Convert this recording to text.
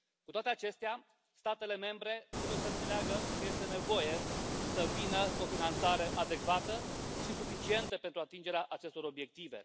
Cu toate acestea, statele membre trebuie să înțeleagă că este nevoie să vină cu o finanțare adecvată și suficientă pentru atingerea acestor obiective.